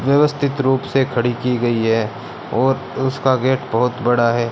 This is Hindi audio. व्यवस्थित रूप से खड़ी की गई है और उसका गेट बहोत बड़ा है।